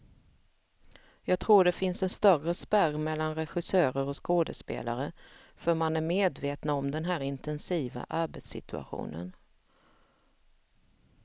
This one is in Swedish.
Jag tror det finns en större spärr mellan regissörer och skådespelare, för man är medvetna om den här intensiva arbetssituationen.